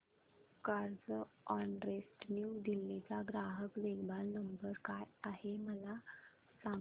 Carzonrent New Delhi चा ग्राहक देखभाल नंबर काय आहे मला सांग